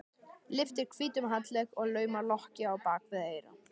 Lyftir hvítum handlegg og laumar lokki á bak við eyra.